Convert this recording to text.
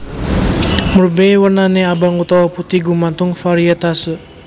Murbei wernané abang utawa putih gumantung variétase